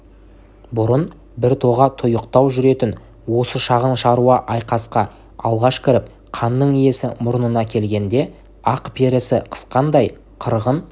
бұрын біртоға тұйықтау жүретін осы шағын шаруа айқасқа алғаш кіріп қанның исі мұрнына келгенде ақ перісі қысқандай қырғын